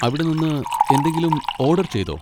അവിടെ നിന്ന് എന്തെങ്കിലും ഓഡർ ചെയ്തോ?